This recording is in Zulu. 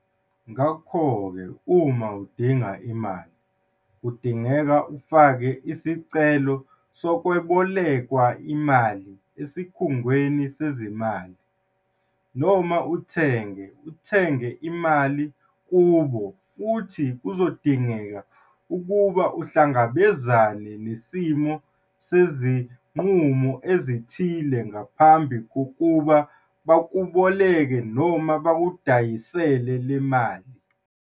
Ngakho ke, uma udinga imali, kudingeka ufake isicelo sokwebolekwa imali esikhungweni sezezimali, uthenge, uthenge imali kubo futhi kuzodingeka ukuba uhlangabezane nesimo sezinqumo ezithile ngaphambi kokuba bakweboleke, bakudayisele, le mali.